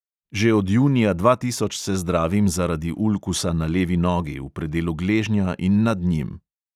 Že od junija dva tisoč se zdravim zaradi ulkusa na levi nogi, v predelu gležnja in nad njim.